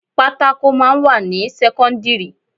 Pátákò máa ń wà ní sẹ́kọ́ńdírì.